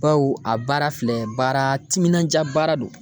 Baw a baara filɛ baara timinanja baara don.